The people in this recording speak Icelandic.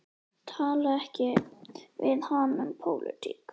Talaðu ekki við hana um pólitík.